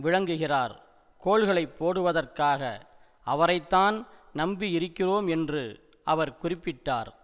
விளங்குகிறார் கோல்களை போடுவதற்காக அவரைத்தான் நம்பியிருக்கிறோம் என்று அவர் குறிப்பிட்டார்